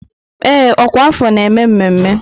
Ee, ọkwa afọ na-eme mmemme.